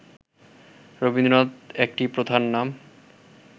রবীন্দ্রনাথ একটি প্রথার নাম